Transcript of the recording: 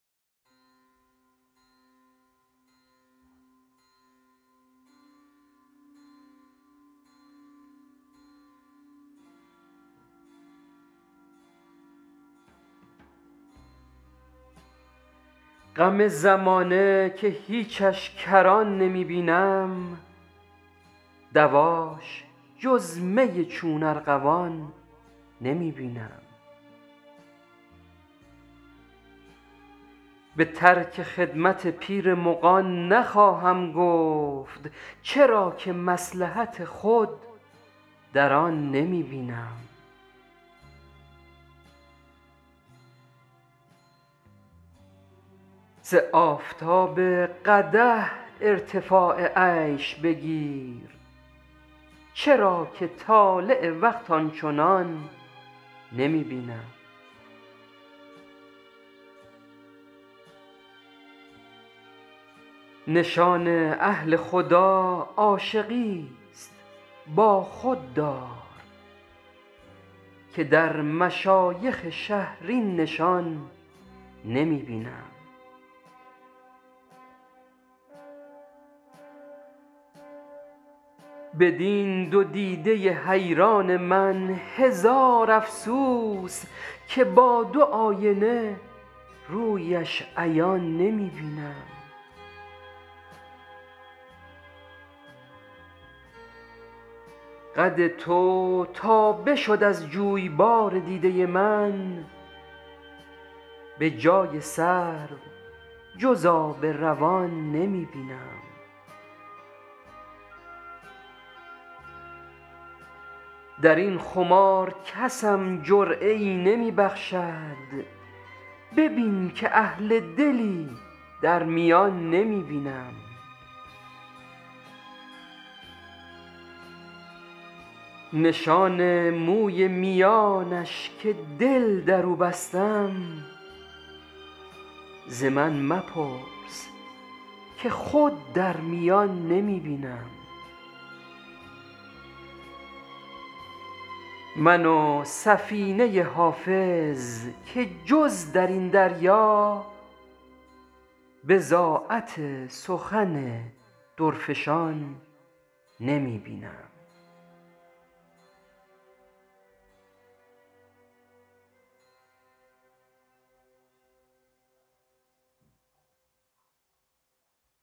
غم زمانه که هیچش کران نمی بینم دواش جز می چون ارغوان نمی بینم به ترک خدمت پیر مغان نخواهم گفت چرا که مصلحت خود در آن نمی بینم ز آفتاب قدح ارتفاع عیش بگیر چرا که طالع وقت آن چنان نمی بینم نشان اهل خدا عاشقیست با خود دار که در مشایخ شهر این نشان نمی بینم بدین دو دیده حیران من هزار افسوس که با دو آینه رویش عیان نمی بینم قد تو تا بشد از جویبار دیده من به جای سرو جز آب روان نمی بینم در این خمار کسم جرعه ای نمی بخشد ببین که اهل دلی در میان نمی بینم نشان موی میانش که دل در او بستم ز من مپرس که خود در میان نمی بینم من و سفینه حافظ که جز در این دریا بضاعت سخن درفشان نمی بینم